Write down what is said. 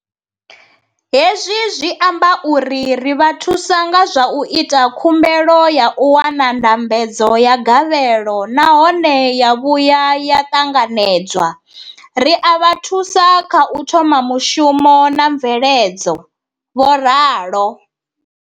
Hezwi zwi amba uri ri vha thusa nga zwa u ita khumbelo ya u wana ndambedzo ya gavhelo nahone ya vhuya ya ṱanganedzwa, ri a vha thusa kha u thoma mushumo na mveledzo, vho ralo.